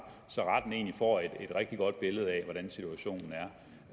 får et rigtig godt billede af hvordan situationen